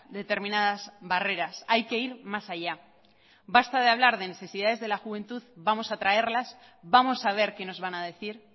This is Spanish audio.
determinadas barreras hay que ir más allá basta de hablar de necesidades de la juventud vamos a traerlas vamos a ver qué nos van a decir